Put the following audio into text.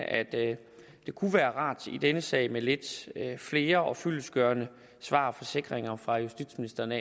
at det kunne være rart i denne sag med lidt flere og fyldestgørende svar og forsikringer fra justitsministeren